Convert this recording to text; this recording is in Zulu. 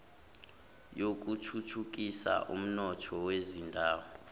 yokuthuthukisa umnotho wezindawo